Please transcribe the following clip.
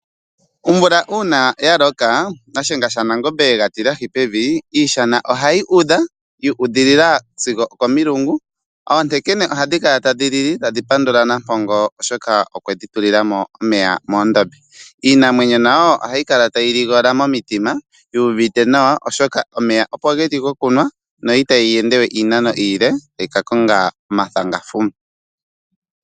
Omvula uuna ya loka , Shiyenga shaNangombe yega tilahi pevi , iishana ohayi udha, yu udhilila sigo okomilungu. Oontekene ohadhi kala tadhi lili tadhi pandula Nampongo , oshoka okwedhi tulila mo omeya moondombe. Iinamwenyo nayo ohayi kala tayi ligola momitima , yu uvite nawa , oshoka omeya opo geli gokunwa, no itayi ende we iinano iile tayi ka konga omathangafuma.